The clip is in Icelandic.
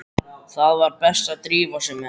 Það var best að drífa sig með hann.